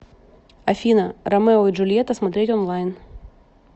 афина ромео и джульета смотреть онлайн